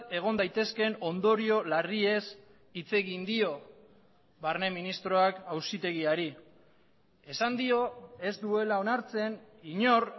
egon daitezkeen ondorio larriez hitz egin dio barne ministroak auzitegiari esan dio ez duela onartzen inor